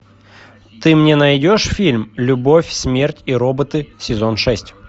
ты мне найдешь фильм любовь смерть и роботы сезон шесть